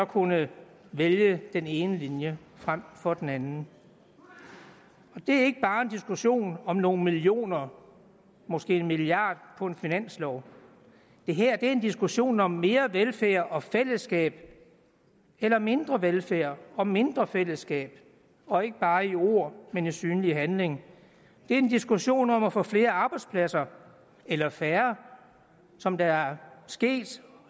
kunne vælge den ene linje frem for den anden det er ikke bare en diskussion om nogle millioner måske en milliard på en finanslov det her er en diskussion om mere velfærd og mere fællesskab eller mindre velfærd og mindre fællesskab og ikke bare i ord men i synlig handling det er en diskussion om at få flere arbejdspladser eller færre som det er sket